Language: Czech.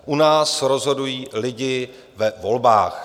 U nás rozhodují lidé ve volbách.